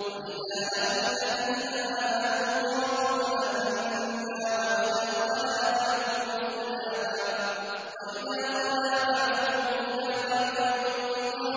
وَإِذَا لَقُوا الَّذِينَ آمَنُوا قَالُوا آمَنَّا وَإِذَا خَلَا بَعْضُهُمْ إِلَىٰ بَعْضٍ قَالُوا